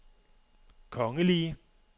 kongelige